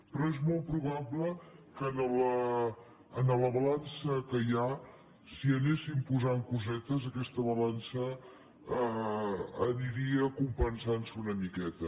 però és molt probable que a la balança que hi ha si hi anessin posant cosetes aquesta balança aniria compensantse una miqueta